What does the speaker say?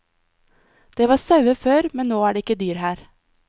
Det var sauer før, men nå er det ikke dyr her.